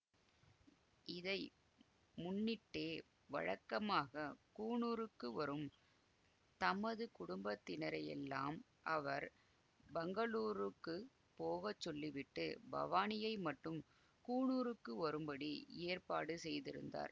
இதை முன்னிட்டே வழக்கமாகக் கூனூருக்கு வரும் தமது குடும்பத்தினரையெல்லாம் அவர் பங்களூருக்குப் போக சொல்லிவிட்டு பவானியை மட்டும் கூனூருக்கு வரும்படி ஏற்பாடு செய்திருந்தார்